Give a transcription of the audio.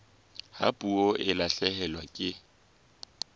ha puo e lahlehelwa ke